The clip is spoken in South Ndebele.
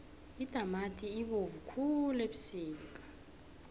itamati ibovu khulu ebusika